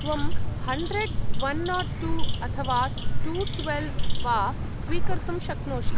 त्वं hundred, one not two अथवा two twelve वा स्वीकर्तुं शक्नोषि।